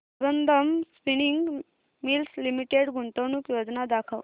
Sambandam spinning mills limited गुंतवणूक योजना दाखव